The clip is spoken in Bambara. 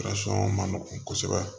ma nɔgɔ kosɛbɛ